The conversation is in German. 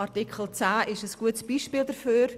Artikel 10 ist ein gutes Beispiel dafür.